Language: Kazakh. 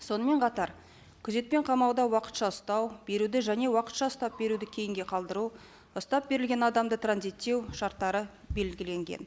сонымен қатар күзетпен қамауда уақытша ұстау беруді және уақытша ұстап беруді кейінге қалдыру ұстап берілген адамды транзиттеу шарттары белгіленген